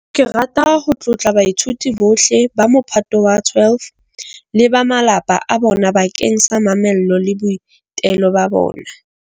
Ke rata ho tlotla baithuti bohle ba Mophato wa 12 le ba malapa a bona bakeng sa mamello le boitelo ba bona.